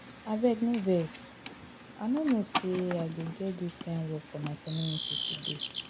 Abeg no vex, I no know say I go get dis kin work for my community today